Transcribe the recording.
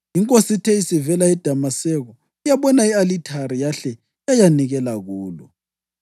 Inkosi ithe isivela eDamaseko yabona i-alithari yahle yayanikela kulo.